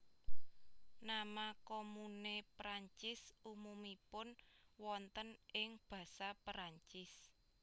Nama komune Perancis umumipun wonten ing Basa Perancis